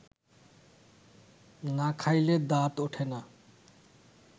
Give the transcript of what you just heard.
না খাইলে দাঁত ওঠে না